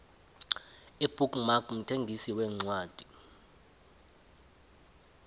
ibook mark mthengisi wencwadi